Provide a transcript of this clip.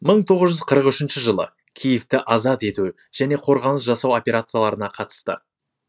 мың тоғыз жүз қырық үшінші жылы киевті азат ету және қорғаныс жасау операцияларына қатысты